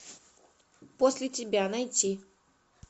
после тебя найти